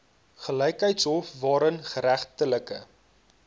gelykheidshof waarin geregtelike